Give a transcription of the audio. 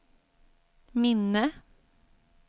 minne